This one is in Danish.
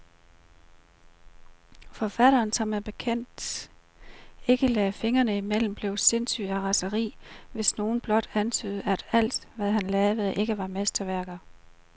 Forfatteren, der som bekendt ikke lagde fingrene imellem, blev sindssyg af raseri, hvis nogen blot antydede, at alt, hvad han lavede, ikke var mesterværker.